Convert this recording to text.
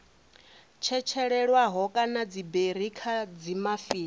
tshetshelelwaho kana dziberi kha dzimafini